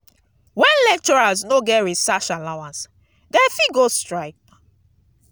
when lecturers no get research allowance dem fit go strike.